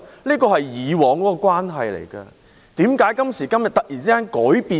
這是大家以往的關係，為甚麼今時今日會突然完全改變？